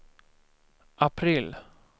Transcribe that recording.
april